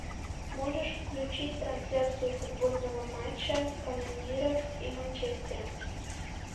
можешь включить трансляцию футбольного матча канониров и манчестера